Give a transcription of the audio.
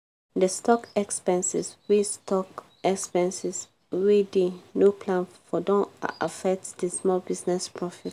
the stock expenses wey stock expenses wey dey no plan for don affect di small business profit.